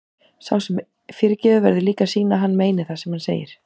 Sá sem fyrirgefur verður líka að sýna að hann meini það sem hann segir.